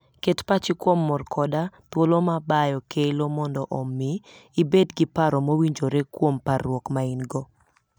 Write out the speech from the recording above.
Ket pachi kuom mor koda thuolo ma bayo kelo mondo omi ibed gi paro mowinjore kuom parruok ma in-go.